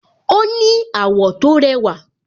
Ó ní àwọ̀ tó rẹwà